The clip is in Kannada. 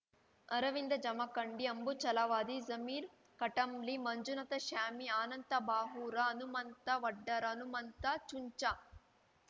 ಅರವಿಂದ ಜಮಖಂಡಿ ಅಂಬು ಛಲವಾದಿ ಜಮೀರ ಕಟಂಬ್ಲಿ ಮಂಜುನಾಥ ಶ್ಯಾವಿ ಆನಂದ ಬಾವೂರ ಹನಮಂತ ವಡ್ಡರ ಹನಮಂತ ಚುಂಚಾ